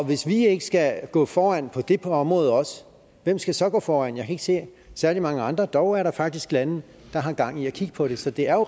hvis vi ikke skal gå foran på det område også hvem skal så gå foran jeg kan ikke se særlig mange andre dog er der faktisk lande der har gang i at kigge på det så det er